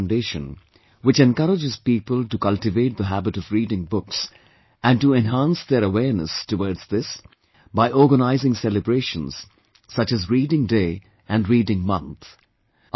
Panicker Foundation, which encourages people to cultivate the habit of reading books and to enhance their awareness towards this, by organising celebrations such as 'Reading Day', and 'Reading Month'